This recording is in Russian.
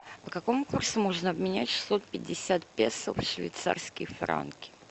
по какому курсу можно обменять шестьсот пятьдесят песо в швейцарские франки